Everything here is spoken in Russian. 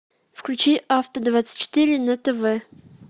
включи авто двадцать четыре на тв